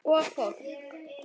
Og fólk!